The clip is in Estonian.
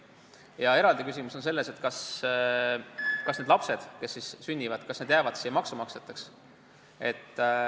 Ja eraldi küsimus on, kas need lapsed, kes siis sünniksid, jääksid Eesti maksumaksjateks.